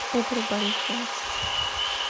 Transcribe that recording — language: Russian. игорю борисову